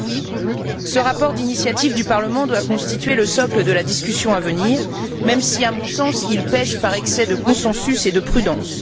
Alors oui, ce rapport d'initiative du Parlement doit constituer le socle de la discussion à venir, même si, à mon sens, il pèche par excès de consensus et de prudence.